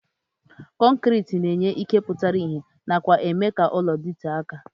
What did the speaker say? Kọnkriti na-enye ike pụtara ihe nakwa ime ka ụlọ dịtee aka.